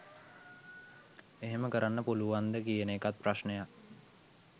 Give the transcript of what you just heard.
එහෙම කරන්න පුලුවන්ද කියන එකත් ප්‍රශ්නයක්.